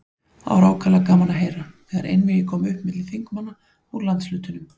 Það var ákaflega gaman að heyra, þegar einvígi kom upp milli þingmanna úr landshlutunum.